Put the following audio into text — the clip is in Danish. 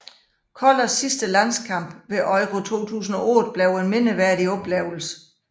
Kollers sidste landskamp ved Euro 2008 blev en mindeværdig oplevelse